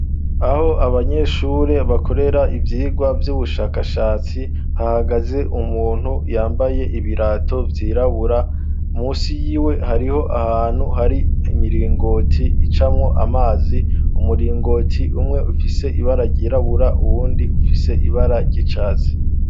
Aho abanyeshure bakorera ivyigwa vy'ubushakashatsi, hahagaze umuntu yambaye ibirato byirabura munsi yiwe, hariho ahantu hari imiringoti icamwo amazi umuringoti umwe ufise ibara ryirabura uwundi ufise ibara ry'icatsi.